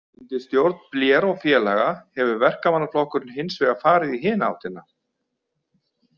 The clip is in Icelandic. Undir stjórn Blair og félaga hefur Verkamannaflokkurinn hins vegar farið í hina áttina.